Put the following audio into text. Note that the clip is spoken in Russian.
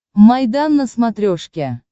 майдан на смотрешке